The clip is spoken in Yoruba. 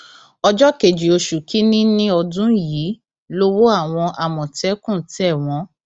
ọjọ kejì oṣù kìnínní ọdún yìí lowó àwọn àmọtẹkùn tẹ wọn